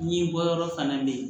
Ɲɛbɔ yɔrɔ fana bɛ yen